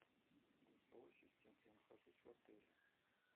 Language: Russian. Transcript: голосовой ассистент я нахожусь в отеле